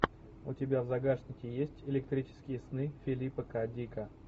у тебя в загашнике есть электрические сны филипа к дика